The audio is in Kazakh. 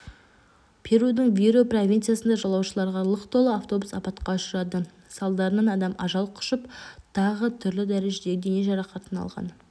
перудің виру провинциясында жолаушыларға лық толы автобус апатқа ұшырады салдарынан адам ажал құшып тағы түрлі дәрежедегі дене жарақатын алған